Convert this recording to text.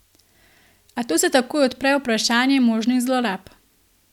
A tu se takoj odpre vprašanje možnih zlorab.